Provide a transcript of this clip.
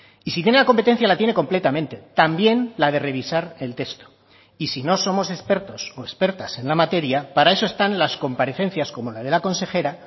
y si tiene la competencia la tiene completamente también la de revisar el texto y si no somos expertos o expertas en la materia para eso están las comparecencias como la de la consejera